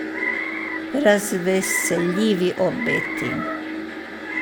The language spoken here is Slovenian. Razveseljivi obeti ...